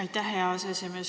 Aitäh, hea aseesimees!